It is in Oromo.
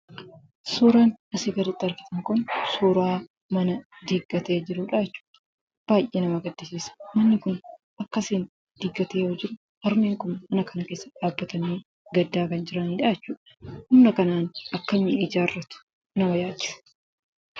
Suuraan asii gaditti argamu kun suuraa mana diigamee jirudha jechuudha. Baay'ee nama gaddisiisa akkasiin diigamee yoo ta'u harmeen kun keessa dhaabbatanii gaddaa kan jiran yoo ta'u, humna kanaan akkamiin ijaarratu nama yaachisa.